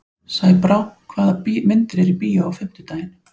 Sæbrá, hvaða myndir eru í bíó á fimmtudaginn?